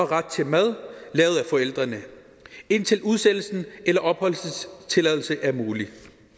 ret til mad lavet af forældrene indtil udsendelse eller opholdstilladelse er mulig